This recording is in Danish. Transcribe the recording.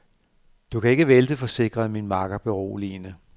Du kan ikke vælte, forsikrede min makker beroligende.